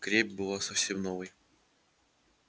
крепь была совсем новой